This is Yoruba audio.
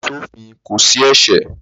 Lai sófìn kó sí ẹ̀sẹ̀.